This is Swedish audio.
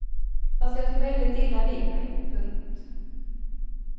Fast jag tog väldigt illa vid mig. punkt